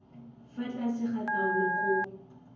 fa tlase ga taolo koo